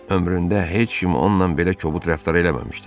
Ömründə heç kim onunla belə kobud rəftar eləməmişdi.